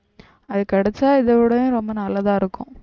அது கிடைச்சா இதை விடவும் ரொம்ப நல்லதா இருக்கும்